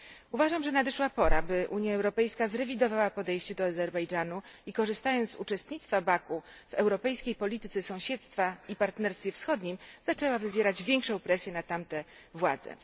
Uważam, że nadeszła pora, by Unia Europejska zrewidowała podejście do Azerbejdżanu i, korzystając z uczestnictwa Baku w europejskiej polityce sąsiedztwa i Partnerstwie Wschodnim, zaczęła wywierać większą presję na tamte władze.